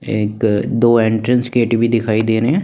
एक दो entrance gate भी दिखाई दे रहे हैं।